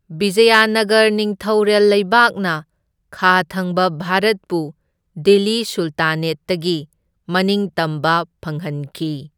ꯕꯤꯖꯌꯥꯅꯥꯒꯔ ꯅꯤꯡꯊꯧꯔꯦꯜ ꯂꯩꯕꯥꯛꯅ ꯈꯥ ꯊꯪꯕ ꯚꯥꯔꯠꯄꯨ ꯗꯤꯜꯂꯤ ꯁꯨꯜꯇꯥꯅꯦꯠꯇꯒꯤ ꯃꯅꯤꯡꯇꯝꯕ ꯐꯪꯍꯟꯈꯤ꯫